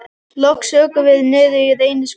Loks ökum við niður í Reynishverfi.